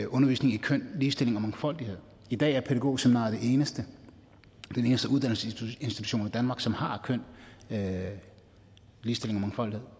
undervisning i køn ligestilling og mangfoldighed i dag er pædagogseminariet den eneste uddannelsesinstitution i danmark som har køn ligestilling og mangfoldighed